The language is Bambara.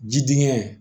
Ji dingɛ